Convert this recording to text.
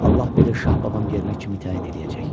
Allah bilir şah babam yerinə kimi təyin eləyəcək.